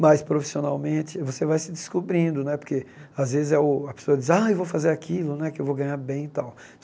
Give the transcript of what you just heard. Mas, profissionalmente, você vai se descobrindo né, porque, às vezes, a pessoa diz, ai vou fazer aquilo né, que eu vou ganhar bem e tal.